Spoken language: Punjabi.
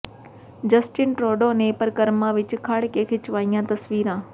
ਜਸਟਿਨ ਟਰੂਡੋ ਨੇ ਪਰਕਰਮਾ ਵਿਚ ਖੜ੍ਹ ਕੇ ਖਿਚਵਾਈਆਂ ਤਸਵੀਰਾਂ